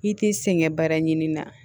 I t'i sɛgɛn baara ɲini na